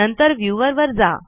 नंतर व्यूवर वर जा